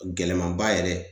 Gɛlɛmanba yɛrɛ